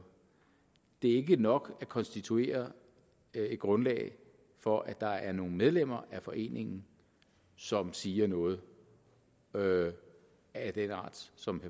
det er ikke nok at konstituere et grundlag for at der er nogle medlemmer af foreningen som siger noget noget af den art som